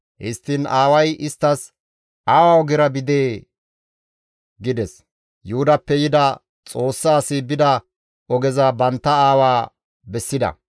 Histtiin aaway isttas, «Awa ogera bidee?» gides; Yuhudappe yida Xoossa asi bida ogeza bantta aawa bessida.